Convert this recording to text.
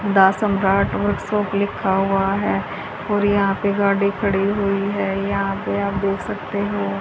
the Samrat Ashok लिखा हुआ है और यहां पे गाड़ी खड़ी हुई है यहां पे आप देख सकते हो--